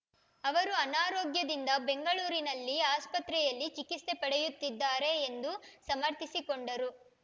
ಅವರು ಅನಾರೋಗ್ಯದಿಂದ ಬೆಂಗಳೂರಿನಲ್ಲಿ ಆಸ್ಪತ್ರೆಯಲ್ಲಿ ಚಿಕಿತ್ಸೆ ಪಡೆಯುತ್ತಿದ್ದಾರೆ ಎಂದು ಸಮರ್ಥಿಸಿಕೊಂಡರು